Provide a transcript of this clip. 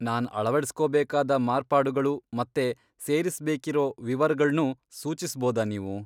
ನಾನ್ ಅಳವಡಿಸ್ಕೋಬೇಕಾದ ಮಾರ್ಪಾಡುಗಳು ಮತ್ತೆ ಸೇರಿಸ್ಬೇಕಿರೋ ವಿವರಗಳ್ನೂ ಸೂಚಿಸ್ಬೋದಾ ನೀವು?